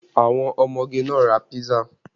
Àwọn ọmọge náà ra písà